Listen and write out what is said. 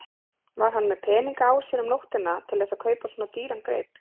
Var hann með peninga á sér um nóttina til þess að kaupa svona dýran grip?